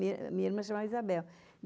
Minha irmã chamava Isabel.